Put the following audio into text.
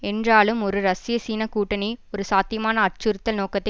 என்றாலும் ஒரு ரஷ்யசீனக் கூட்டணி ஒரு சாத்தியமான அச்சுறுத்தல் நோக்கத்தை